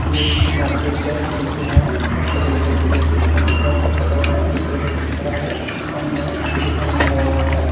ये मार्केट का दृश्य है यहां पे एक व्यक्ति बैठ कर फोन से बाते कर रहा है दूसरा व्यक्ति खड़ा है सामने दुकान लगा हुआ है।